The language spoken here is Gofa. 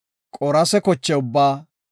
qoorase koche ubbaa,